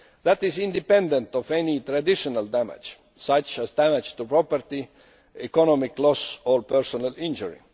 That is independent of any traditional damage, such as damage to property, economic loss or personal injury.